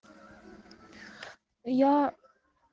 я